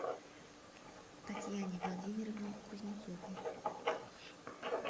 татьяне владимировне кузнецовой